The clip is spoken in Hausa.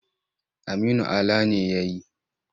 Aminu Ala ne ya yi.